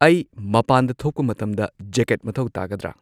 ꯑꯩ ꯃꯄꯥꯟꯗ ꯊꯣꯛꯄ ꯃꯇꯝꯗ ꯖꯦꯀꯦꯠ ꯃꯊꯧ ꯇꯥꯒꯗ꯭ꯔꯥ